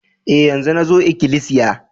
E, yanzo nazo ikilisiya.